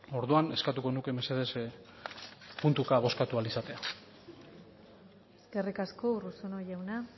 orduan eskatuko nuke mesedez puntuka bozkatu ahal izatea eskerrik asko urruzuno jauna